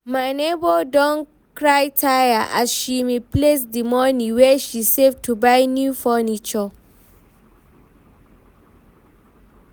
my nebor don cry tire as she misplace di money wey she save to buy new furniture